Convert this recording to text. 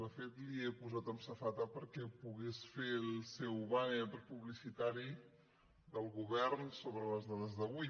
de fet li he posat en safata perquè pogués fer el seu bàner publicitari del govern sobre les dades d’avui